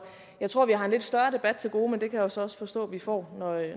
jeg tror vi har en lidt større debat til gode men det kan jeg så også forstå at vi får